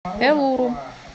элуру